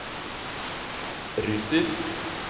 russisk